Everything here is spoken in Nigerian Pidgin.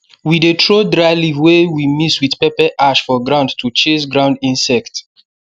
we dey throw dry leaf wey we mix with pepper ash for ground to chase ground insect